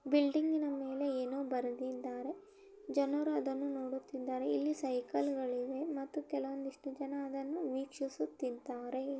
Building ಮೇಲೆ ಏನೋ ಬರೆದಿದ್ದಾರೆ. ಜನರು ಅದನ್ನು ನೋಡುತ್ತಿದ್ದಾರೆ..ಇಲ್ಲಿ ಸೈಕಲ್ ಗಳಿವೆ ಮತ್ತು ಕೆಲವಂದ್ ಇಷ್ಟು ಜನ ಅದನ್ನು ವೀಕ್ಷಿಸುತ್ತಿದ್ದಾರೆ.